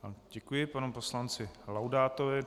Děkuji panu poslanci Laudátovi.